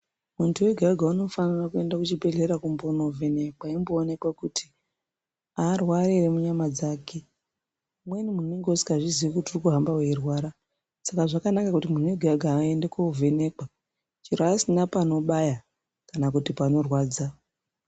Muntu wega wega unofanira kuenda kuchibhedhlera kumbono vhenekwa eimbo onekwa kuti aarwari ere munyama dzake . Umweni muntu unonga usingazvizi urikuhamba weyirwara saka zvakanaka kuti muntu wega wega ayende kovhenekwa chero asina panobaya kana kuti panorwadza.